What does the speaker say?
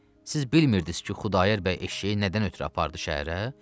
Siz bilmirdiz ki, Xudayar bəy eşşəyi nədən ötrü apardı şəhərə?